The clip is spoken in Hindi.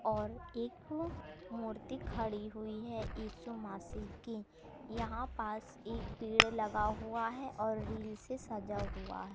और एक मूर्ति खड़ी हुई है यीशु मसीह की यहां पास एक पेड़ लगा हुआ है और रील से सजा हुआ--